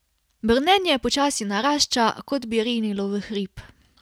Brnenje počasi narašča, kot bi rinilo v hrib.